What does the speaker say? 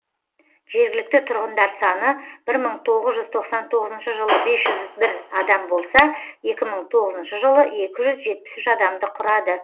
жергілікті тұрғындар саны бір мың тоғыз жүз тоқсан тоғызыншы жылы бес жүз бір адам болса екі мың он тоғызыншы жылы екі жүз жетпіс үш адамды құрады